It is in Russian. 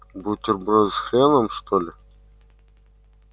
бутерброды с хреном что ли